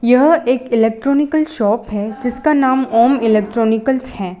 यह एक electronical shop है जिसका नाम ओम इलेक्ट्रानिकलस है।